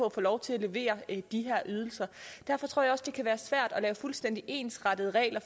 at få lov til at levere de her ydelser derfor tror jeg også det kan være svært at lave fuldstændig ensrettede regler